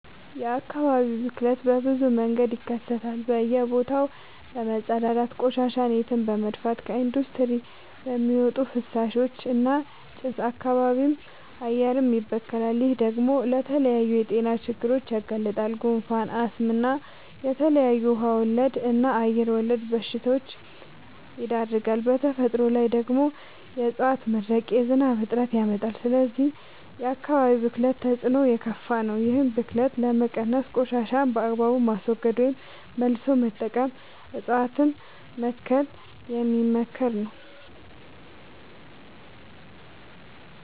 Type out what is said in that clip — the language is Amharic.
የአካባቢ ብክለት በብዙ መንገድ ይከሰታል በእየ ቦታው በመፀዳዳት፤ ቆሻሻን የትም በመድፍት፤ ከኢንዲስትሪ በሚወጡ ፍሳሾች እና ጭስ አካባቢም አየርም ይበከላል። ይህ ደግሞ ለተለያዩ የጤና ችግሮች ያጋልጣል። ጉንፋን፣ አስም እና ለተለያዩ ውሃ ወለድ እና አየር ወለድ በሽታወች ይዳርጋል። በተፈጥሮ ላይ ደግሞ የዕፀዋት መድረቅ የዝናብ እጥረት ያመጣል። ስለዚህ የአካባቢ ብክለት ተፅዕኖው የከፋ ነው። ይህን ብክለት ለመቀነስ ቆሻሻን በአግባቡ ማስወገድ ወይም መልሶ መጠቀም እፀዋትን መትከል የሚመከር ነው።